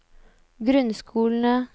grunnskolene